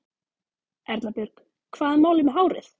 Erla Björg: Hvað er málið með hárið?